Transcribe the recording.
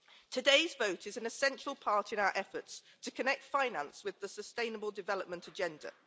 Today's vote is an essential part in our efforts to connect finance with the sustainable development agenda.